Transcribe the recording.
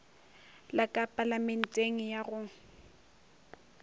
la ka palamenteng ya go